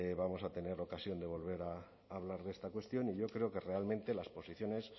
vamos a tener ocasión de volver a hablar de esta cuestión y yo creo que realmente las posiciones